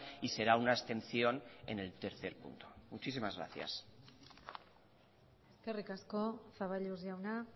y será una abstención en el tercer punto muchísimas gracias eskerrik asko zaballos jauna